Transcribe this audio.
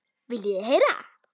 Viljið þið heyra?